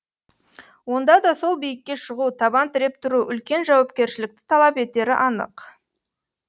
онда да сол биікке шығу табан тіреп тұру үлкен жауапкершілікті талап етері анық